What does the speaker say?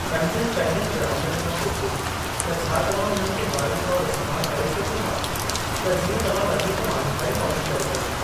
पंहिंजनि पहिरियनि ग्राहकनि खां पुछो त छा तव्हां उन्हनि खे हवालनि तौर इस्तेमाल करे सघो था त जीअं तव्हां वधीक माण्हुनि ताईं पहुच करे सघो।